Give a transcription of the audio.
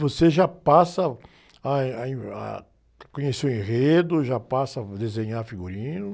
Você já passa a, ah, eh, aí, ah, a conhecer o enredo, já passa a desenhar figurino.